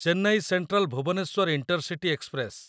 Chennai central Bhubaneswar intercity express